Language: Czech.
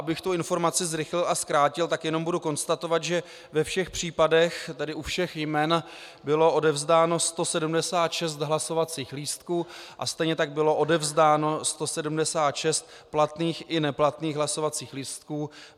Abych tu informaci zrychlil a zkrátil, tak jenom budu konstatovat, že ve všech případech, tedy u všech jmen bylo odevzdáno 176 hlasovacích lístků a stejně tak bylo odevzdáno 176 platných i neplatných hlasovacích lístků.